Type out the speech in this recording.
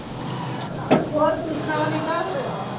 ਕੁੱਛ ਨਹੀਂ ਕਰ ਰਹੇ